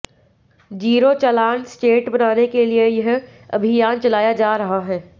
zero challan state बनाने के लिए यह अभियान चलाया जा रहा है